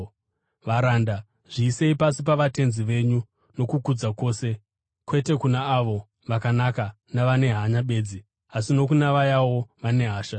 Varanda, zviisei pasi pavatenzi venyu nokukudza kwose, kwete kuna avo vakanaka navane hanya bedzi, asi nokuna vayawo vane hasha.